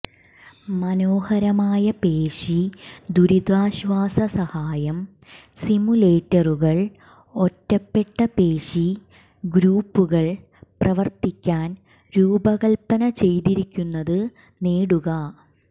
മനോഹരമായ പേശി ദുരിതാശ്വാസ സഹായം സിമുലേറ്ററുകൾ ഒറ്റപ്പെട്ട പേശി ഗ്രൂപ്പുകൾ പ്രവർത്തിക്കാൻ രൂപകൽപ്പന ചെയ്തിരിക്കുന്നത് നേടുക